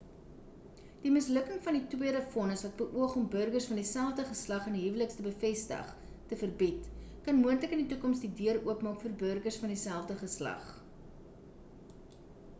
die mislukking van die tweede vonnis wat beoog om burgers van dieselfde geslag in die huwelik te bevestig te verbied kan moontlik in die toekoms die deur oopmaak vir burgers van die selfde geslag